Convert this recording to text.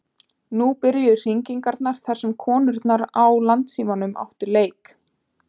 Nú byrjuðu hringingar þar sem konurnar á Landssímanum áttu leik.